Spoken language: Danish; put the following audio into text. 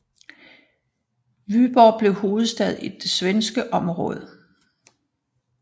Vyborg blev hovedstad i det svenske område